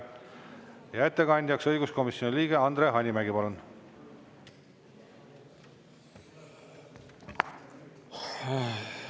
Ja ettekandjaks õiguskomisjoni liige Andre Hanimägi, palun!